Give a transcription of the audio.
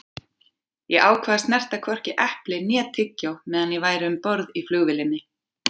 Ég ákvað að snerta hvorki epli né tyggjó meðan ég væri um borð í flugvélinni.